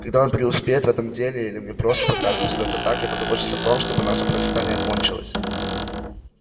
когда он преуспеет в этом деле или мне просто покажется что это так я позабочусь о том чтобы наше процветание кончилось